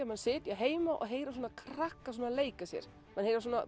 maður sitji heima og heyri svona krakka leika sér maður heyrir